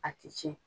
A ti tiɲɛ